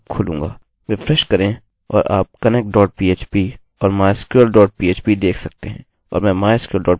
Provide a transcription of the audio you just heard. refresh करें और आप connect dot php और mysql dot php देख सकते हैं और मैं mysql dot php पर क्लिक करूँगा